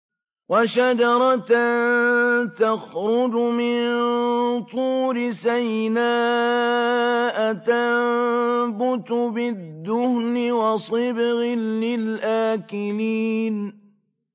وَشَجَرَةً تَخْرُجُ مِن طُورِ سَيْنَاءَ تَنبُتُ بِالدُّهْنِ وَصِبْغٍ لِّلْآكِلِينَ